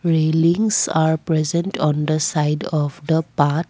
railings are present on the side of the path.